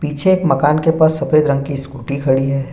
पीछे एक मकान के पास सफेद रंग की स्कूटी खड़ी है।